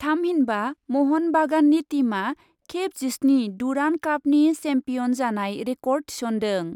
थामहिनबा महन बागाननि टीमआ खेब जिस्नि डुरान्ड कापनि सेम्पियन जानाय रेकर्ड थिसन्दों।